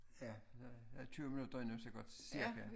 Ja der er 20 minutter endnu så godt cirka